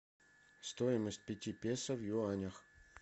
стоимость пяти песо в юанях